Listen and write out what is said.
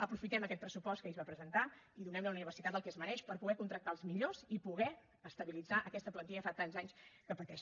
aprofitem aquest pressupost que ahir es va presentar i donem li a la universitat el que es mereix per poder contractar els millors i poder estabilitzar aquesta plantilla que fa tants anys que pateix